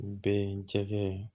Be yen cɛkɛ